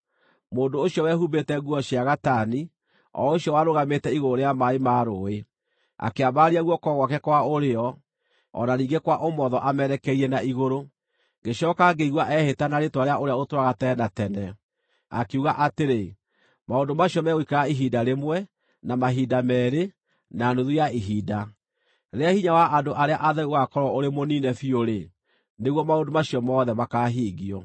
Mũndũ ũcio wehumbĩte nguo cia gatani, o ũcio warũgamĩte igũrũ rĩa maaĩ ma rũũĩ, akĩambararia guoko gwake kwa ũrĩo o na ningĩ kwa ũmotho amerekeirie na igũrũ, ngĩcooka ngĩigua ehĩta na rĩĩtwa rĩa ũrĩa ũtũũraga tene na tene, akiuga atĩrĩ, “Maũndũ macio megũikara ihinda rĩmwe, na mahinda meerĩ, na nuthu ya ihinda. Rĩrĩa hinya wa andũ arĩa atheru ũgaakorwo ũrĩ mũniine biũ-rĩ, nĩguo maũndũ macio mothe makaahingio.”